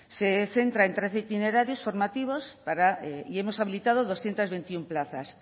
se centra en trece itinerarios formativos y hemos habilitado doscientos veintiuno plazas